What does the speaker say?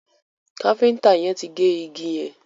Kafiñta yén tí gé ìgi yén